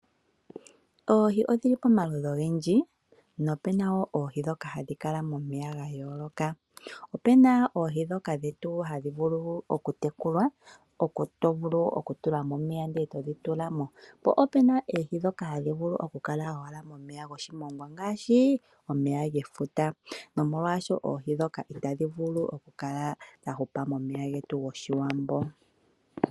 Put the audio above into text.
Oohi odhili pamaludhi ogendji nope na wo oohi ndhoka hadhi kala momeya ga yooloka. Ope na oohi ndhoka dhetu hadhi vulu okutekulwa , to longekidha okayemele komeya eto dhi tula mo , po opu na ndhoka hadhi vulu okukala momeya goshimongwa ngaashi omeya gomEfuta, nomolwaashoka oohi ndhoka itadhi vulu okukala dha hupa momeya getu goshiwambo nenge ngoka ga za kopomba.